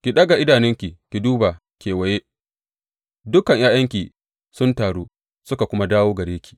Ki ɗaga idanunki ki duba kewaye; dukan ’ya’yanki sun taru suka kuma dawo gare ki.